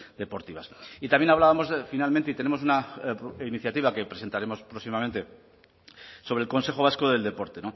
deportivas y también hablábamos finalmente y tenemos una iniciativa que presentaremos próximamente sobre el consejo vasco del deporte